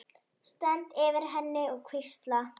Stend yfir henni og hvísla.